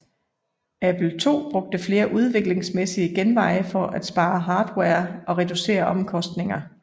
Apple II brugte flere udviklingsmæssige genveje for at spare hardware og reducere omkostninger